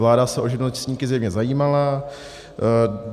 Vláda se o živnostníky zjevně zajímala.